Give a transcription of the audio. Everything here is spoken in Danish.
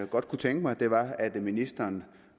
godt kunne tænke mig var at ministeren